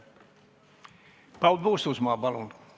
Paul Puustusmaa, palun!